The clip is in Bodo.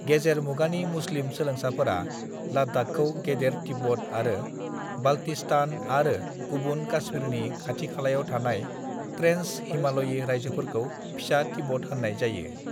गेजेर मुगानि मुस्लिम सोलोंसाफोरा लाद्दाखखौ गेदेर तिब्बत आरो बाल्टिस्तान आरो गुबुन काश्मीरनि खाथिखालायाव थानाय ट्रेन्स-हिमालयी रायजोफोरखौ फिसा तिब्बत होननाय जायो।